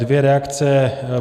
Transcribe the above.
Dvě reakce.